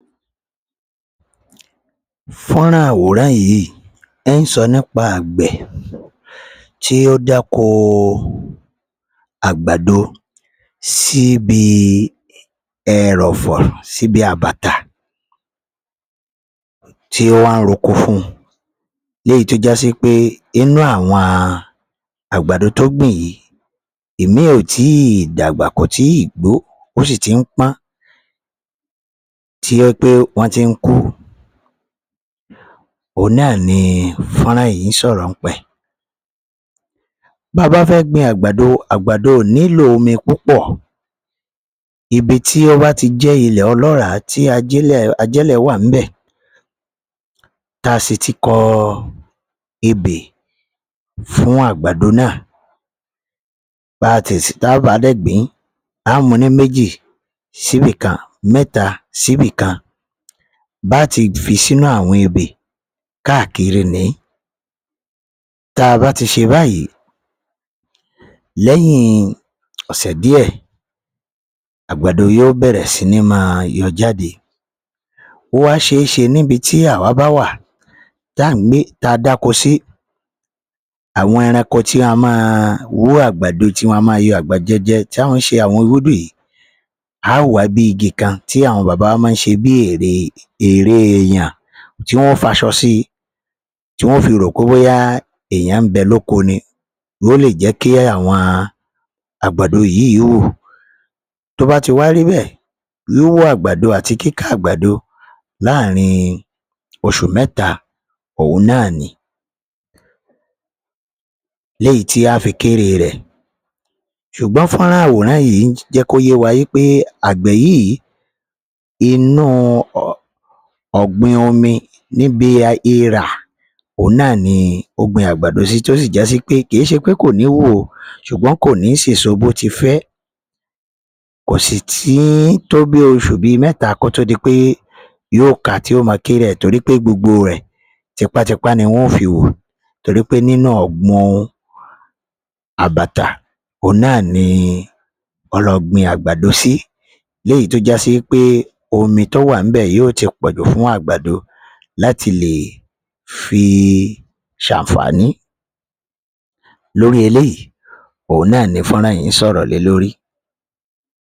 Fo̥nran àwòrán yii nso̥ nipa àgbè̥ ti o dako àgbàdo si bi ẹró̥fó̥ sibi àbàtà ti o̥ wa n roko fun leyi to jasi pe inu awo̥n àgbàdo to gbin yii imin o tii dàgbà ko tii gbo o si ti n pan ti oje̥ pe wo̥n ti n ku oun naa ni fo̥nran yi n sò̥rò̥ npe̥. Baaba fe̥ gbin agbado agbado o ni lo omi pùpó̥ ibi ti o ba ti je̥ ile o̥lo̥ra ti ajìlé̥ wa nbe̥ ta si ti ko̥ ebé fun àgbàdo na baaba degbin a mu ni mèjí si bi kan me̥ta si bi kan ba ti fi sinu awo̥n ibe̥ kaakiri ni. Taa ba ti se bayi lè̥yín ò̥sè̥ die̥, àgbàdo yo bè̥rè̥ sinima yo̥ jade o wa seese nibi ti awa ba wa tan gbe ta dakosi awo̥n eranko ti a ma wu agbado ti wa ma yo̥ àgbàdo je̥ ti wo̥n she àwon irudu yi, a wa bi igi kan ti àwo̥n baba wa ma nse bi ère eyan ti wo̥n faso̥ si ti wo̥n fi ro pe boya eeyan nbe̥ lòko ni, wo le je̥ ki awo̥n àgbàdo yi wu to ba ti wa ribe̥. Yo wo àgbàdo ati kika àgbàdo laarin oshu méta ohun na ni. Leyi ti a fi kere re̥. Sùgbón fo̥nran àwòrán yi je̥ ko ye wa wipe àgbè̥ yi inu ò̥gbìn omi nibi ira ouna ni ogbin àgbàdo si to si jasi pe kii sepe ko ni wu o sùgbón ko ni sèso bo ti fe̥. Kositi to bi ósù bi méta ko t'odi pe yo ka ti o ma kere e̥ tori pe gbogbo re̥ tipatipa ni wo̥n fi wu tori pe ninu o̥gbun àbàtà ouna ni olo̥gbin àgbàdo si. Leyi to ja si pe omi to wa nbe̥ yo ti po̥ju fun àgbàdo lati le fi sanfani. Lori eleyi ouna ni fo̥nran yi sò̥rò̥ le lori.